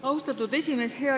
Austatud esimees!